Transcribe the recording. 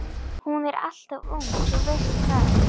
Hún er alltof ung, þú veist það.